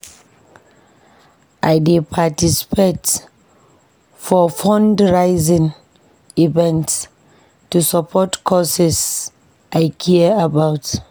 I dey participate for fundraising events to support causes I care about.